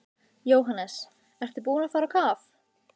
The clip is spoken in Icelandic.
Jóhannes: Ertu búinn að fara á kaf?